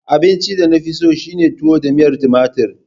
Abincin da na fi so shine tuwo da miyar tumatir.